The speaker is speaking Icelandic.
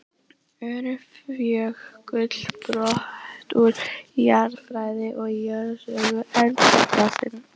Öræfajökull, brot úr jarðfræði og jarðsögu eldfjallsins.